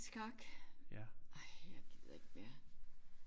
Skak ej jeg gider ikke mere